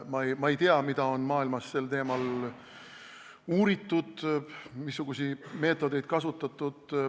Ma ei tea, kuidas on maailmas seda teemat uuritud, missuguseid meetodeid on kasutatud.